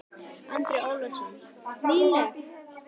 Andri Ólafsson: Nýleg?